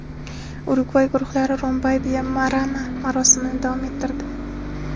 Urugvay guruhlari Rombai va Marama marosimni davom ettirdi.